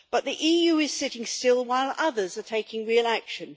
But the EU is sitting still while others are taking real action.